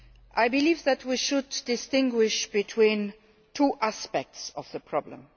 I believe that we should distinguish between two aspects to the problem.